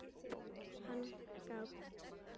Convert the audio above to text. Hann gapir.